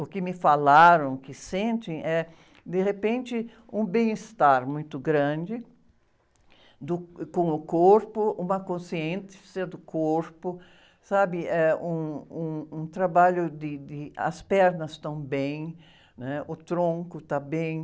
o que me falaram que sentem é, de repente, um bem-estar muito grande do, com o corpo, uma consciência do corpo, sabe? Eh, um, um, um trabalho de, de, as pernas estão bem, né? O tronco está bem.